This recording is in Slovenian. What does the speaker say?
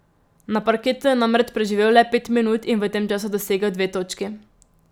Na parketu je namreč preživel le pet minut in v tem času dosegel dve točki.